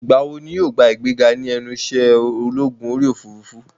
Ìgbà wo ni yóò gba ìgbéga ní ẹnu ìṣẹ́ ológun orí òfurufú?